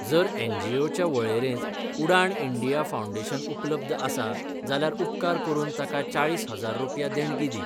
जर एनजीओच्या वळेरेंत उडाण इंडिया फाउंडेशन उपलब्ध आसा जाल्यार उपकार करून ताका चाळीस हजार रुपया देणगी दी.